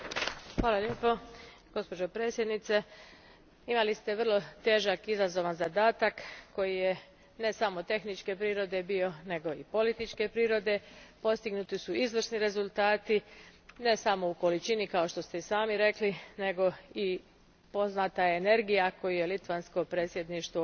Poštovani g. predsjedavajući gospođo predsjednice, imali ste vrlo težak i izazovan zadatak koji je ne samo tehničke prirode bio nego i političke prirode. Postignuti su izvrsni rezultati, ne samo u količini, kao što ste i sami rekli, nego je poznata i energija koju je litavsko predsjedništvo